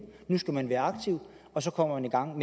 nu skal man være aktiv og så kommer man i gang